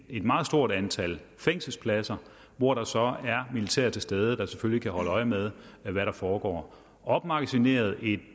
et meget stort antal fængselspladser og hvor der så er militær til stede der selvfølgelig kan holde øje med hvad der foregår opmagasineret i